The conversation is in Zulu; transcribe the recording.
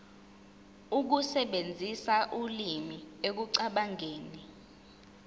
ukusebenzisa ulimi ekucabangeni